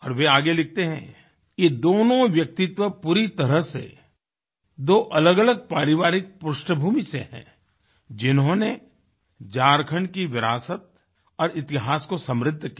और वे आगे लिखते हैं ये दोनों व्यक्तित्व पूरी तरह से दो अलगअलग पारिवारिक पृष्ठभूमि से हैं जिन्होंने झारखण्ड की विरासत और इतिहास को समृद्ध किया